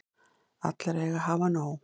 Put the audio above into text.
Allir eiga að hafa nóg.